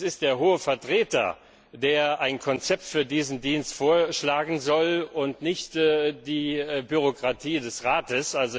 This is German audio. Es ist der Hohe Vertreter, der ein Konzept für diesen Dienst vorschlagen soll, und nicht die Bürokratie des Rates.